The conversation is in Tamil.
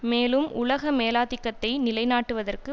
மேலும் உலக மேலாதிக்கத்தை நிலை நாட்டுவதற்கு